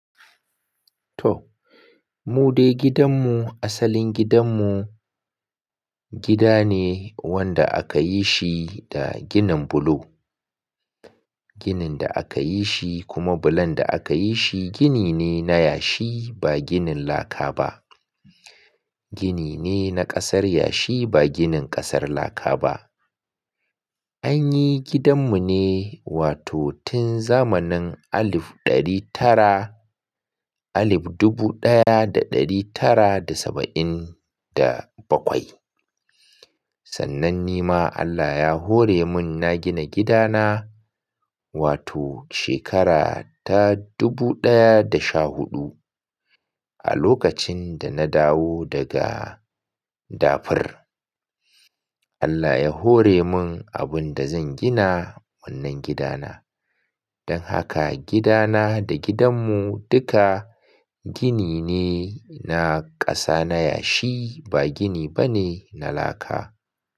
Toh, mu dai gidanmu asalin gidanmu, gida ne wanda aka yi shi da ginin bulo. Ginin da aka yi shi, kuma bulon da aka yi shi gini ne na yashi, ba ginin laka ba. Gini ne na ƙasar yashi ba ginin ƙasar laka ba. An yi gidanmu ne, wato tun zamanin alif ɗari tara, alif dubu ɗaya da ɗari tara da saba'in da bakwai. Sannan ni ma Allah ya hore min na gina gidana, wato shekara ta dubu ɗaya da sha huɗu, a lokacin da na dawo daga dafir. Allah ya hore mun abun da zan gina wannan gidana. Don haka, gidana da gidanmu duka gini ne na ƙasa na yashi, ba gini ba ne na laka.